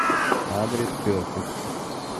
адрес перфект